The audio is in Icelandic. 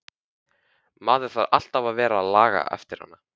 Maður þarf alltaf að vera að laga eftir hana.